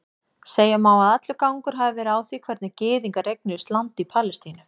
Segja má að allur gangur hafi verið á því hvernig gyðingar eignuðust land í Palestínu.